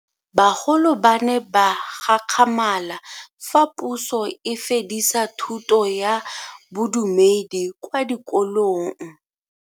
Bagolo ba ne ba gakgamala fa Puso e fedisa thuto ya Bodumedi kwa dikolong.